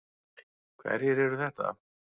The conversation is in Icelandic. Hverjir eru þetta?